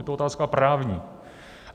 Je to otázka právní.